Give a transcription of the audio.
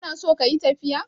kana so kayi tafiya?